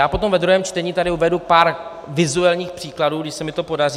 Já potom ve druhém čtení tady uvedu pár vizuálních příkladů, když se mi to podaří.